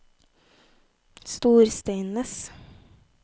Storsteinnes